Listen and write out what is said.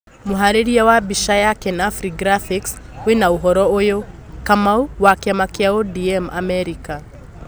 Mũharĩrĩria wa mbica ya kenafri graphics wĩna ũhoro ũyũ: Kamau, wa kiama kĩa ODM Amerika